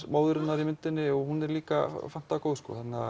móðurinnar í myndinni hún er líka fantagóð